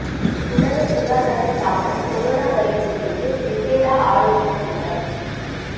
உலக சுகாதார ஸ்தாபனம் கொரோனா வைரஸ் குறித்து விசேட ஆலோசனைக் கூட்டம்